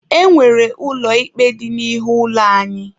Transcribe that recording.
E nwere ụlọ ikpe dị n'ihu ụlọ anyị.